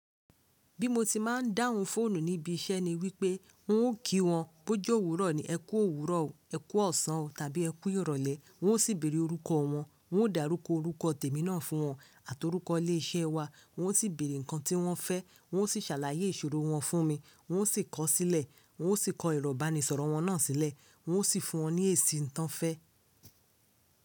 Bí mo ti máa ń dáhùn fóònù níbi iṣẹ́ ni wípé n ó kí wọn bó jó òwúrọ̀ ni, ẹ kú òwúrọ̀ o, ẹ kú ọ̀sán o tàbí ẹ kú ìrọ̀lẹ́, wọn ó sì bèrè orúkọ wọn, wọn ó dàrúkọ orúkọ tèmi náà fún wọn àtí orúkọ ilé iṣẹ́ wa, wọn ó sì bèrè ǹkan tí wọ́n fẹ́, wọn ó sì ṣàlàyé ìṣòro wọn fún mi, wọn ó sì kọ̀ ọ́ sílẹ̀, wọn ó sì kọ ìrọ̀banisọ̀rọ̀ wọn náà sílẹ̀, wọn ó sì fún wọn ní èsì nǹkan fẹ́